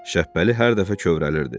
Şəbbəli hər dəfə kövrəlirdi.